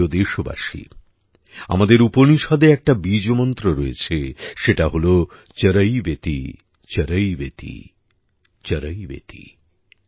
আমার প্রিয় দেশবাসী আমাদের উপনিষদে একটা বীজমন্ত্র রয়েছে সেটা হল চরৈবেতিচরৈবেতিচরৈবেতি